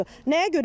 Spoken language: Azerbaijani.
Nəyə görə eləməli?